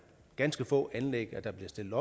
ganske få anlæg der bliver stillet